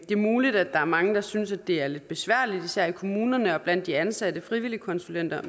muligt at der er mange der synes at det er lidt besværligt især i kommunerne og blandt de ansatte frivilligkonsulenter